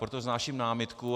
Proto vznáším námitku.